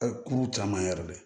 kurun caman yɛrɛ le